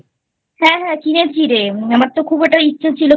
হ্যাঁ হ্যাঁ কিনেছি রে আমার তো খুব ওটার ইচ্ছা ছিল